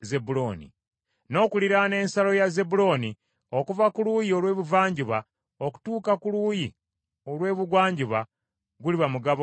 N’okuliraana ensalo ya Zebbulooni okuva ku luuyi olw’ebuvanjuba okutuuka ku luuyi olw’ebugwanjuba, guliba mugabo gwa Gaadi.